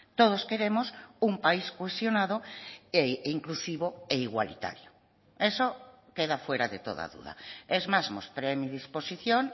todos queremos un país cohesionado inclusivo e igualitario eso queda fuera de toda duda es más mostré mi disposición